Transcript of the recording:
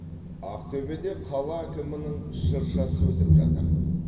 ақтөбеде қала әкімінің шыршасы өтіп жатыр